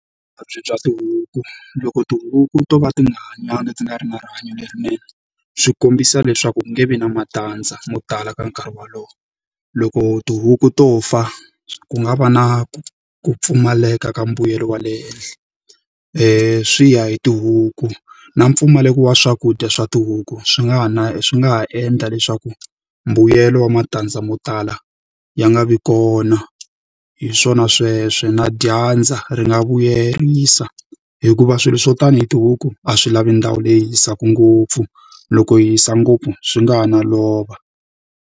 Vuvabyi bya tihuku. Loko tihuku to va ti nga hanyangi ti nga ri na rihanyo lerinene, swi kombisa leswaku ku nge vi na matandza mo tala ka nkarhi wolowo. Loko tihuku to fa ku nga va na ku ku pfumaleka ka mbuyelo wa le henhla. Swi ya hi tihuku. Na mpfumaleko wa swakudya swa tihuku swi nga ha na swi nga ha endla leswaku mbuyelo wa matandza mo tala, ya nga vi kona. Hi swona sweswo. Na dyandza ri nga vuyerisa, hikuva swilo swo ta ni hi tihuku a swi lavi ndhawu leyi hisaka ngopfu, loko yi hisa ngopfu swi nga ha no lova.